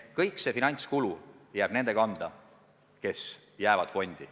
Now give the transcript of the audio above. Kogu see finantskulu jääb nende kanda, kes jäävad fondi.